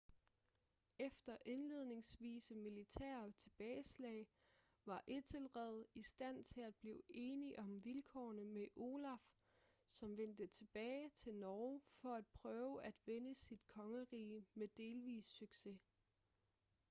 efter indledningsvise militære tilbageslag var ethelred i stand til at blive enig om vilkårene med olaf som vendte tilbage til norge for at prøve at vinde sit kongerige med delvis succes